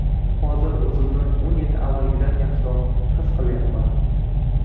Hozir o‘zimni o‘n yil avvalgidan yaxshiroq his qilyapman.